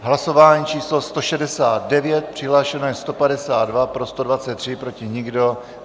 Hlasování číslo 169, přihlášeno je 152, pro 123, proti nikdo.